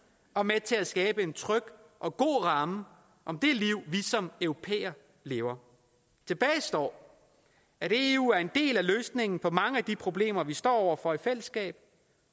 og med til at skabe en tryg og god ramme om det liv vi som europæere lever tilbage står at eu er en del af løsningen på mange af de problemer vi står over for i fællesskab